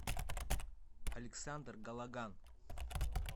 александр галаган